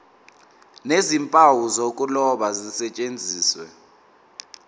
nezimpawu zokuloba zisetshenziswe